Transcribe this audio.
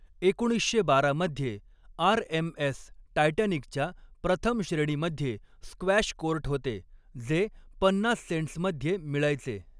एकोणीसशे बारा मध्ये आर.एम.एस. टायटॅनिकच्या प्रथम श्रेणीमध्ये स्क्वॅश कोर्ट होते, जे पन्नास सेंट्समध्ये मिळायचे.